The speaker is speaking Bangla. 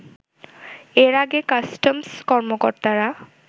এর আগে কাস্টমস কর্মকর্তারা